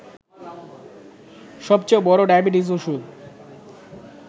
সবচেয়ে বড় ডায়াবেটিকস ওষুধ